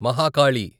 Mahakali